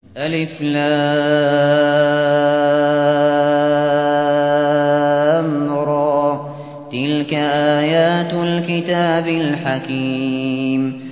الر ۚ تِلْكَ آيَاتُ الْكِتَابِ الْحَكِيمِ